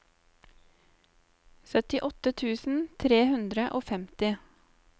syttiåtte tusen tre hundre og femti